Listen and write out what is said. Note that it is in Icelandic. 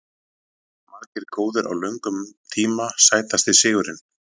Margir góðir á löngum tíma Sætasti sigurinn?